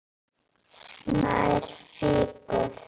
Snær fýkur.